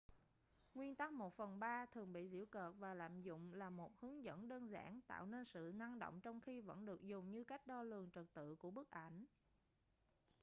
nguyên tắc một phần ba thường bị giễu cợt và lạm dụng là một hướng dẫn đơn giản tạo nên sự năng động trong khi vẫn được dùng như cách đo lường trật tự của bức ảnh